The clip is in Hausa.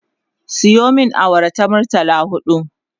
Sayo min awara ta murtala huɗu